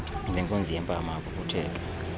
ngenkunzi yempama aphuphutheke